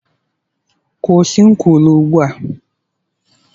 Kwụsị nkwulu ugbu a!